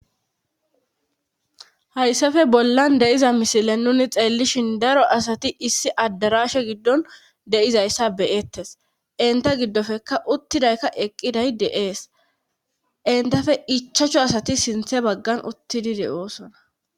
hayssafe bollan deiza misile nuni xeellishin daro asati issi addarashe giddon deizayssa beyettes inta giddofeka uttidayka eqqiday de7ees intafe ichachcho asati sinthe baggan uttidide7oosona